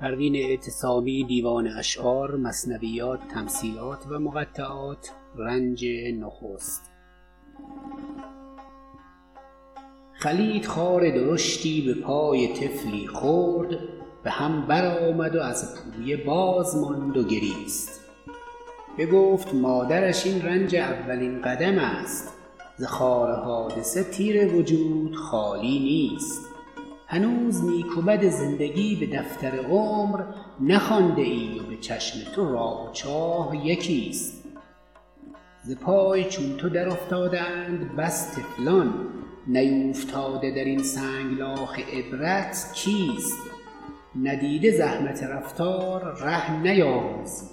خلید خار درشتی بپای طفلی خرد بهم برآمد و از پویه باز ماند و گریست بگفت مادرش این رنج اولین قدم است ز خار حادثه تیه وجود خالی نیست هنوز نیک و بد زندگی بدفتر عمر نخوانده ای و بچشم تو راه و چاه یکیست ز پای چون تو در افتاده اند بس طفلان نیوفتاده درین سنگلاخ عبرت کیست ندیده زحمت رفتار ره نیاموزی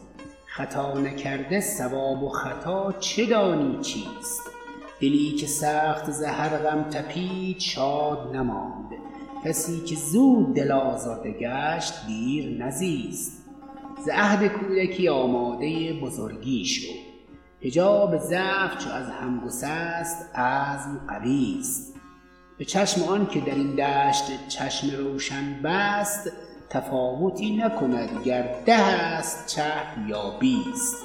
خطا نکرده صواب و خطا چه دانی چیست دلی که سخت ز هر غم تپید شاد نماند کسیکه زود دل آزرده گشت دیر نزیست ز عهد کودکی آماده بزرگی شو حجاب ضعف چو از هم گسست عزم قویست بچشم آنکه درین دشت چشم روشن بست تفاوتی نکند گر ده است چه یا بیست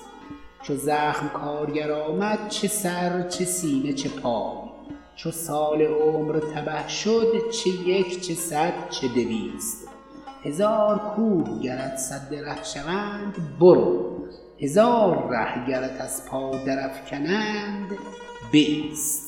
چو زخم کارگر آمد چه سر چه سینه چه پای چو سال عمر تبه شد چه یک چه صد چه دویست هزار کوه گرت سد ره شوند برو هزار ره گرت از پا در افکنند بایست